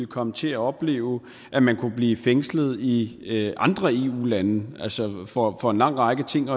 komme til at opleve at man kunne blive fængslet i andre eu lande for for en lang række ting